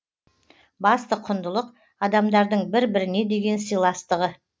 басты құндылық адамдардың бір біріне деген сыйластығы